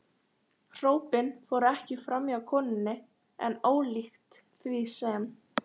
Hrópin fóru ekki framhjá konunni, en ólíkt því sem